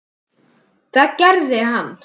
Það gerði hann.